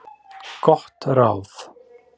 Gott ráð